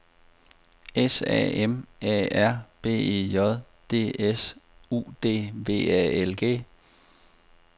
S A M A R B E J D S U D V A L G